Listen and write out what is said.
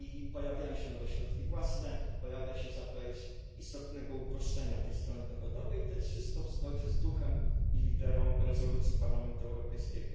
Pojawiają się nowe środki własne, pojawia się zapowiedź istotnego uproszczenia tej strony dochodowej i to jest wszystko w zgodzie z duchem i literą rezolucji Parlamentu Europejskiego.